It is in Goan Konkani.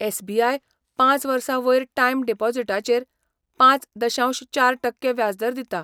एसबीआय पांच वर्सां वयर टायम डिपॉझिटाचेर पांच दशांश चार टक्के व्याजदर दिता.